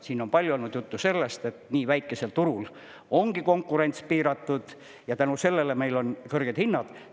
Siin on palju olnud juttu sellest, et nii väikesel turul on konkurents piiratud ja tänu sellele meil on kõrged hinnad.